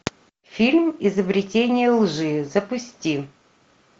фильм изобретение лжи запусти